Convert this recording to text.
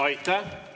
Aitäh!